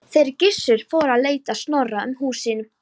Þeir Gissur fóru að leita Snorra um húsin.